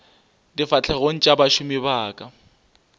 difahlegong tša bašomi ba ka